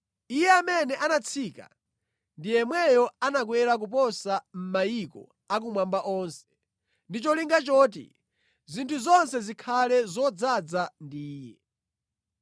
Iye amene anatsika ndi yemweyo anakwera koposa mʼmayiko a kumwamba onse, ndi cholinga choti zinthu zonse zikhale zodzaza ndi Iye.